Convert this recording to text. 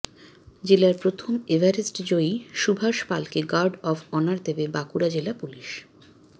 জেলার প্রথম এভারেস্ট জয়ী সুভাষ পালকে গার্ড অফ অনার দেবে বাঁকুড়া জেলা পুলিস